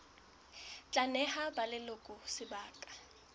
tla neha ba leloko sebaka